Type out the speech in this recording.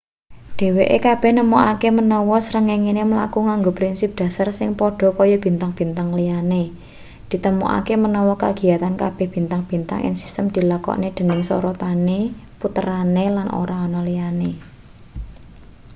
dheweke kabeh nemokake menawa srengenge mlaku nganggo prinsip dhasar sing padha kaya bintang-bintang liyane: ditemokake menawa kagiyatan kabeh bintang-bintang ing sistem dilakokne dening sorotane puterane lan ora ana liyane.‘